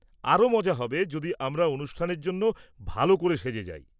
আরও মজা হবে যদি আমরা অনুষ্ঠানের জন্য ভালো করে সেজে যাই।